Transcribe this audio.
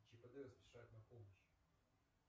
чип и дейл спешат на помощь